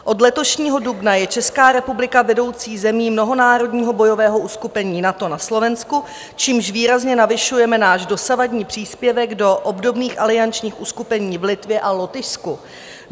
Od letošního dubna je Česká republika vedoucí zemí mnohonárodního bojového uskupení NATO na Slovensku, čímž výrazně navyšujeme náš dosavadní příspěvek do obdobných aliančních uskupení v Litvě a Lotyšsku.